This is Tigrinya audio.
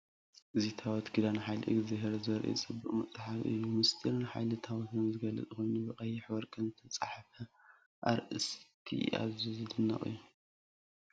እዚ ታቦት ኪዳን ሓይሊ እግዚኣብሔር ዘርኢ ጽብቕቲ መጽሓፍ እዩ። ምስጢርን ሓይልን ታቦት ዝገልጽ ኮይኑ፡ ብቐይሕን ወርቅን ዝተጻሕፈ ኣርእስቲ ኣዝዩ ዝድነቕ እዩ።